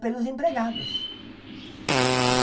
pelos empregados.